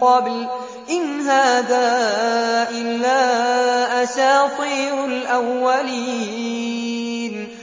قَبْلُ إِنْ هَٰذَا إِلَّا أَسَاطِيرُ الْأَوَّلِينَ